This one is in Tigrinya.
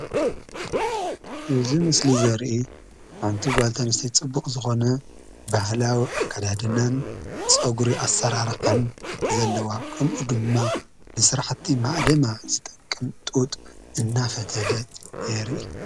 እዚ ምስሊ እዚ ዘሪኢ ሓንቲ ጋል አንስተይቲ ፀቡቅ ዝኮነ ባህላዊ አከዳድናን ፀጉሪ አስራራሓን ዘለዎ ከምኡ ድማ ንስራሕቲ ማእሊማ ዝጠቅም ጡጥ እናፈተለት የሪኢ፡፡